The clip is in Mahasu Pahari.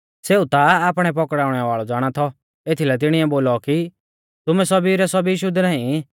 सेऊ ता आपणै पकड़ाउणै वाल़ौ ज़ाणा थौ एथीलै तिणिऐ बोलौ कि तुमै सौभी रै सौभी शुद्ध नाईं